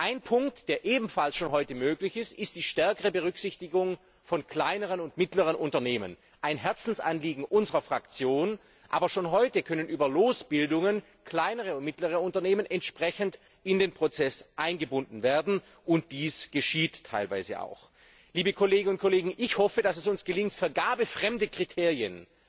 Ein Punkt, der ebenfalls schon heute möglich ist, ist die stärkere Berücksichtigung von kleinen und mittleren Unternehmen ein Herzensanliegen unserer Fraktion. Aber schon heute können über Losbildungen kleinere und mittlere Unternehmen entsprechend in den Prozess eingebunden werden, und dies geschieht teilweise auch. Liebe Kolleginnen und Kollegen, ich hoffe, dass es uns gelingt, vergabefremde Kriterien